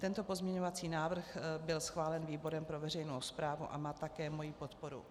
Tento pozměňovací návrh byl schválen výborem pro veřejnou správu a má také moji podporu.